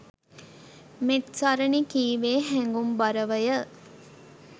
මෙත්සරණී කීවේ හැඟුම්බරවය.